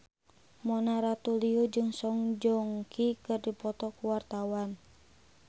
Mona Ratuliu jeung Song Joong Ki keur dipoto ku wartawan